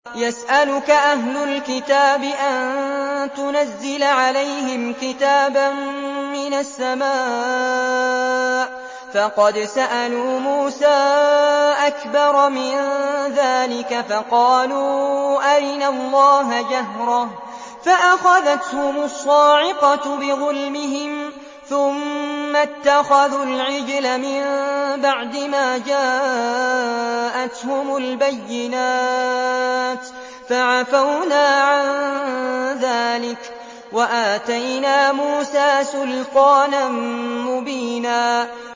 يَسْأَلُكَ أَهْلُ الْكِتَابِ أَن تُنَزِّلَ عَلَيْهِمْ كِتَابًا مِّنَ السَّمَاءِ ۚ فَقَدْ سَأَلُوا مُوسَىٰ أَكْبَرَ مِن ذَٰلِكَ فَقَالُوا أَرِنَا اللَّهَ جَهْرَةً فَأَخَذَتْهُمُ الصَّاعِقَةُ بِظُلْمِهِمْ ۚ ثُمَّ اتَّخَذُوا الْعِجْلَ مِن بَعْدِ مَا جَاءَتْهُمُ الْبَيِّنَاتُ فَعَفَوْنَا عَن ذَٰلِكَ ۚ وَآتَيْنَا مُوسَىٰ سُلْطَانًا مُّبِينًا